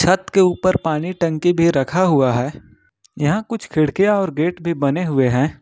छत के ऊपर पानी टंकी भी रखा हुआ है यहां कुछ खिड़कियां और गेट भी बने हुए हैं।